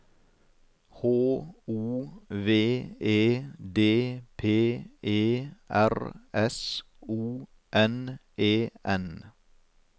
H O V E D P E R S O N E N